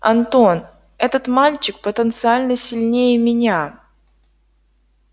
антон этот мальчик потенциально сильнее меня